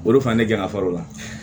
Bolo fa ne kɛ n ka fara o la